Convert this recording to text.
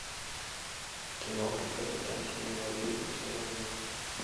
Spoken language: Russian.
киноха капитан семи морей установи